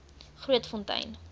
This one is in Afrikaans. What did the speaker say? grootfontein